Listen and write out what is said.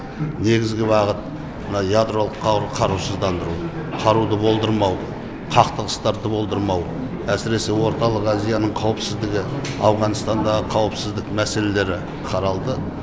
негізгі бағыт мына ядролық қарусыздандыру қаруды болдырмау қақтығыстарды болдырмау әсіресе орталық азияның қауіпсіздігі ауғанстандағы қауіпсіздік мәселелері қаралды